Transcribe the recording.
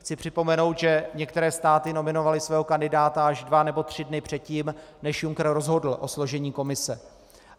Chci připomenout, že některé státy nominovaly svého kandidáta až dva nebo tři dny předtím, než Juncker rozhodl o složení Komise.